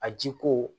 A ji ko